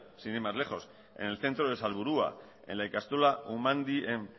sin ir más lejos en el centro de salburua en la ikastola umandi en